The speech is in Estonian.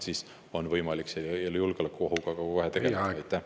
Siis on võimalik selle julgeolekuohuga ka tegeleda.